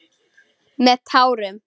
Með tárum.